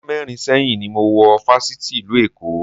Ọdún mẹ́rin sẹ́yìn ni mo wọ Fáṣítì ìlú Èkó